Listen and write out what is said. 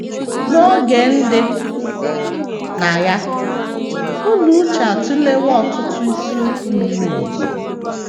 N’oge ndị na - anya, Ụlọ uche atụlewo ọtụtụ isiokwu miri emi.